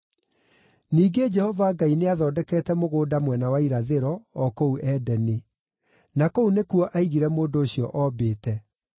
Ningĩ Jehova Ngai nĩathondekete mũgũnda mwena wa irathĩro, o kũu Edeni; na kũu nĩkuo aigire mũndũ ũcio oombĩte.